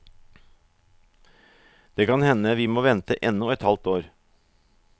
Det kan hende vi må vente ennå et halvt år.